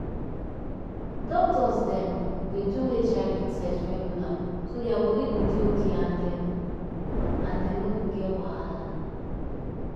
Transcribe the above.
doctors dem dey do hiv test regular so their body go dey okay and dem and dem no go get wahala.